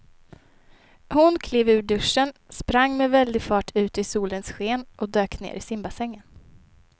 Hon klev ur duschen, sprang med väldig fart ut i solens sken och dök ner i simbassängen.